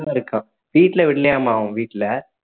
இருக்கான். வீட்டுல விடலையாமாம் அவங்க வீட்டுல